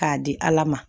K'a di ala ma